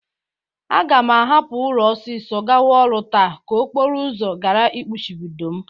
Aga m ahụpụ ụlọ ọsịsọ gawa ọrụ taa ka okporo ụzọ gara ịkpụchibido m.